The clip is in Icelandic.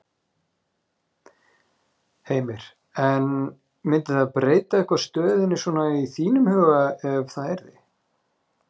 Heimir: En myndi það breyta eitthvað stöðunni svona í þínum huga ef að það yrði?